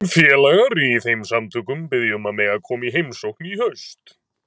Félagar í þeim samtökum biðja um að mega koma í heimsókn í haust.